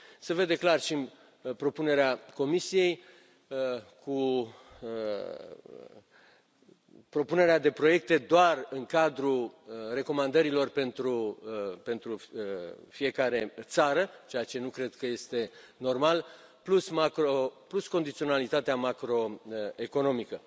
Se vede clar și în propunerea Comisiei cu propunerea de proiecte doar în cadrul recomandărilor pentru fiecare țară, ceea ce nu cred că este normal, plus condiționalitatea macro economică.